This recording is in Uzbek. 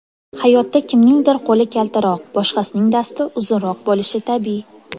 Hayotda kimningdir qo‘li kaltaroq, boshqasining dasti uzunroq bo‘lishi tabiiy.